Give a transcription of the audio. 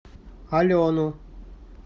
алену